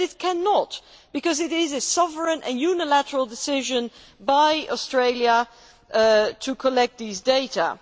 But it cannot, because it is a sovereign and unilateral decision by Australia to collect these data.